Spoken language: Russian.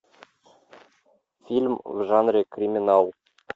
фильм в жанре криминал